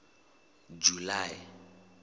july